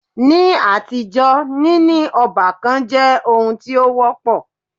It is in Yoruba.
Ní àtijọ́, níní ọ́bàkan jẹ́ oun tí o wọ́pọ̀.